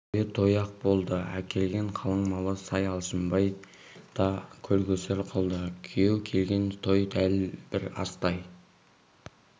тойы той-ақ болды әкелген қалыңмалына сай алшынбай да көл-көсір қылды күйеу келген той дәл бір астай